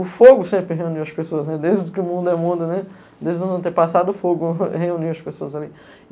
O fogo sempre reuniu as pessoas, desde que o mundo é mundo, desde não ter passado o fogo, reuniu as pessoas ali.